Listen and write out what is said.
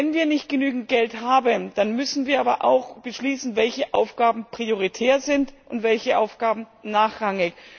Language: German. Wenn wir nicht genügend Geld haben, dann müssen wir aber auch beschließen, welche Aufgaben prioritär sind und welche Aufgaben nachrangig.